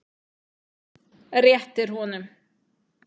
Réttir honum.